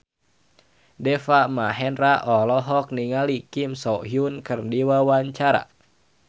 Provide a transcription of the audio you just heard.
Deva Mahendra olohok ningali Kim So Hyun keur diwawancara